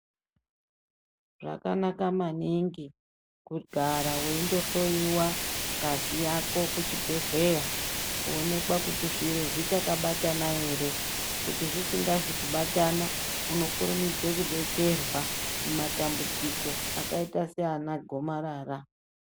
Zvakanaka maningi kugara weindohloiwa ngazi yako kuchibhedhlera kuonekwa kuti zviro zvichakabatana ere kuti zvisingazi kubatana unokurumidze kudetserwa mumatambudziko akaita saana gomarara.